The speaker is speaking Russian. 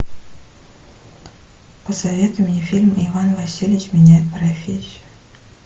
посоветуй мне фильм иван васильевич меняет профессию